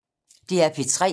DR P3